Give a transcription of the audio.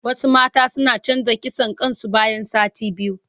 Wasu mata suna canza kitson kain su bayan sati biyu.